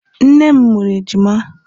nne m mụrụ ejima.